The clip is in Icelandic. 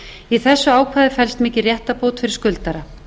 í þessu ákvæði felst mikil réttarbót fyrir skuldara